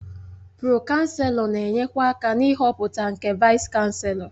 Pro-Chanselọ na-enyekwa aka na ịhọpụta nke Vaịs-Chanselọ.